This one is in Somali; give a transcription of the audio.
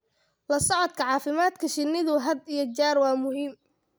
La socodka caafimaadka shinnidu had iyo jeer waa muhiim.